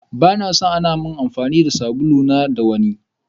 Bana son amfani da sabulu na da wanni.